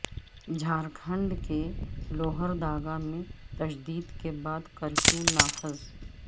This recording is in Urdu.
جھارکھنڈ کے لوہرداگا میں تشدد کے بعد کرفیو نافذ